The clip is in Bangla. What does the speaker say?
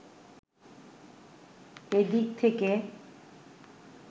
এ দিক থেকে